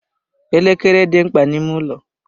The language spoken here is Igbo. Elekere dị mkpa n'ime ụlọ.